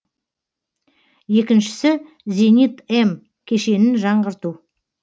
екіншісі зенит м кешенін жаңғырту